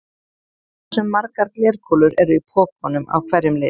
Hversu margar glerkúlur eru í pokanum af hverjum lit?